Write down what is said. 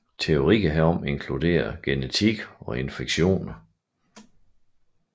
Teorier herom inkluderer genetik eller infektioner